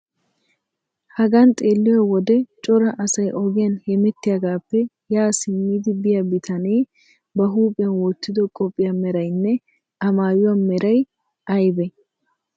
Hagan xeelliyo wode cora asay ogiyan hemettiyagaappe ya simmidi biya bitanee ba huuphiyan wottido qophiya meraynne A maayuwa meray aybee?